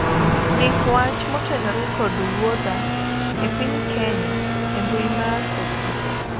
ndiki wach motenore kod wuodha e piny Kenya e mbui mar facebook